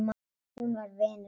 Hún var vinur minn.